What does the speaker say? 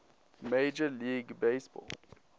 major league baseball